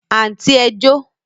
Àǹtí ẹ jó